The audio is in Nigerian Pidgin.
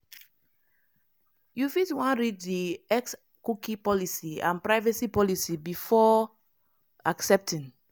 you fit wan read di xcookie policyandprivacy policybefore accepting.